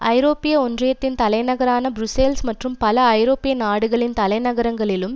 ஐரோப்பிய ஒன்றியத்தின் தலைநகரான புருஸ்ஸல்ஸ் மற்றும் பல ஐரோப்பிய நாடுகளின் தலைநகரங்களிலும்